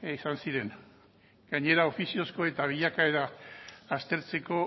izan ziren gainera ofiziozko eta bilakaera aztertzeko